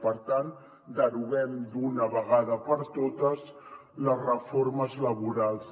per tant deroguem d’una vegada per totes les reformes laborals